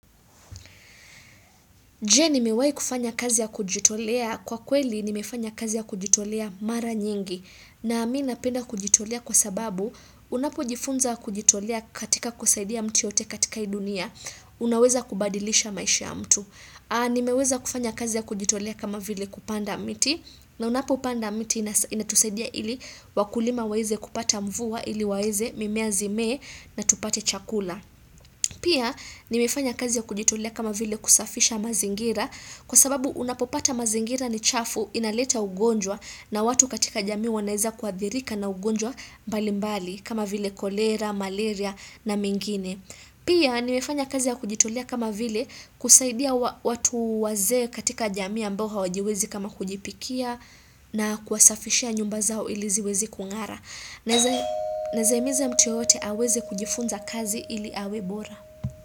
Je, ni mewahi kufanya kazi ya kujitolea? Kwa kweli ni mefanya kazi ya kujitolea mara nyingi na mimi napenda kujitolea kwa sababu unapo jifunza kujitolea katika kusaidia mtu yoyote katika hii dunia. Unaweza kubadilisha maisha ya mtu. Nimeweza kufanya kazi ya kujitolea kama vile kupanda miti na unapo upanda miti inatusaidia ili wakulima waweze kupata mvua ili waweze mimea zimee na tupate chakula. Pia nimefanya kazi ya kujitolea kama vile kusafisha mazingira kwa sababu unapopata mazingira ni chafu inaleta ugonjwa na watu katika jamii wanaweza kuadhirika na ugonjwa mbalimbali kama vile kolera, malaria na mengine. Pia ni mefanya kazi ya kujitolea kama vile kusaidia watu waze katika jamii ambao hawajiwezi kama kujipikia na kuwasafishia nyumba zao iliziwezi kungara. Naweza himiza mtu yoyote aweze kujifunza kazi ili awe bora.